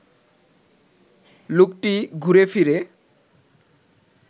লোকটি ঘুরেফিরে